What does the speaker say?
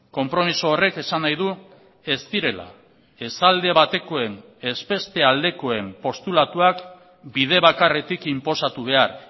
konpromiso horrek esan nahi du ez direla ez alde batekoen ez beste aldekoen postulatuak bide bakarretik inposatu behar